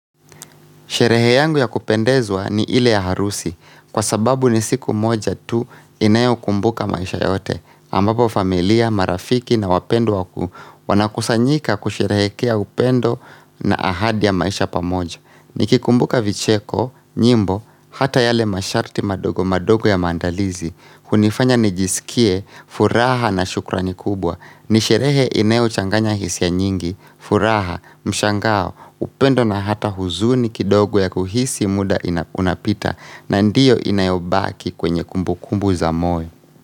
Sherehe yangu ya kupendezwa ni ile ya harusi kwa sababu ni siku moja tu inayo kumbuka maisha yote ambapo familia, marafiki na wapendwa wanakusanyika kusherehekea upendo na ahadi ya maisha pamoja. Nikikumbuka vicheko, nyimbo, hata yale masharti madogo madogo ya maandalizi hunifanya nijisikie, furaha na shukrani kubwa Nisherehe inayo changanya hisia nyingi, furaha, mshangao upendo na hata huzuni kidogo ya kuhisi muda unapita na ndiyo inayobaki kwenye kumbu kumbu za moyo.